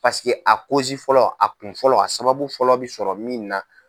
a fɔlɔ a kun fɔlɔ a sababu fɔlɔ bi sɔrɔ min na.